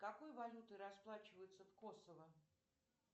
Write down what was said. какой валютой расплачиваются в косово